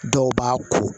Dɔw b'a ko